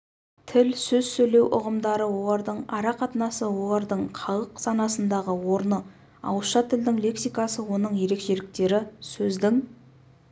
тіл сөз сөйлеу ұғымдары олардың арақатынасы олардың халық санасындағы орны ауызша тілдің лексикасы оның ерекшеліктері сөздің